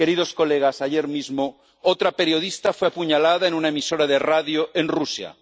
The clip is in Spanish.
Señorías, ayer mismo, otra periodista fue apuñalada en una emisora de radio en Rusia.